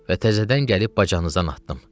Və təzədən gəlib bacanızdan atdım.